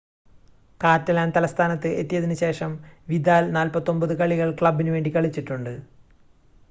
Catalan തലസ്ഥാനത്ത് എത്തിയതിന് ശേഷം വിദാൽ 49 കളികൾ ക്ലബ്ബിന് വേണ്ടി കളിച്ചിട്ടുണ്ട്